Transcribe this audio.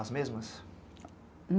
As mesmas?